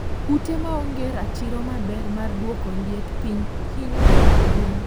ute maonge ratiro maber mar duoko liet piny hinyo ngima gwen